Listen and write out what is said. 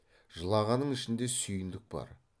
жылағанның ішінде сүйіндік бар